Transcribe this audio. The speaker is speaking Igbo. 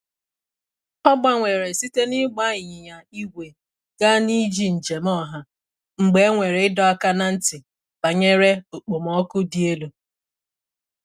O gbanwere site n’ịgba ịnyịnya igwe gaa n’iji njem ọha mgbe e nwere ịdọ aka ná ntị banyere okpomọkụ dị elu.